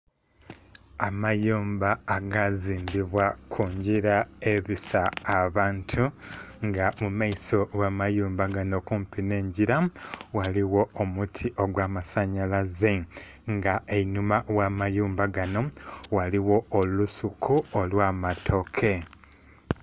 Amayumba aga zimbibwa ku ngilla ebisa abantu nga mu maiso gha amayumba ganho kumpi nhe engila ghaligho omuti ogwa masanhalaze nga einhuma gha amayumba ganho ghaligho olusuku olwa matoke.